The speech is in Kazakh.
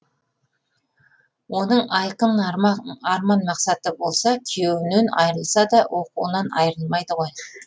оның айқын арман мақсаты болса күйеуінен айырылса да оқуынан айырылмайды ғой